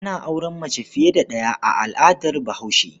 Ana auren mace fiye da ɗaya a al'adar Bahaushe.